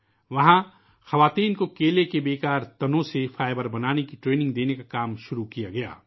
وہاں ، خواتین کو کیلے کے بیکار تنوں سے فائبر بنانے کی تربیت دینے کا کام شروع کیا گیا